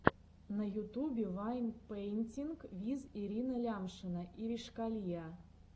на ютубе вайн пэинтинг виз ирина лямшина иришкалиа